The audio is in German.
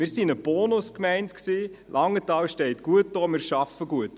Wir waren eine Bonus-Gemeinde, Langenthal steht gut da, wir arbeiten gut.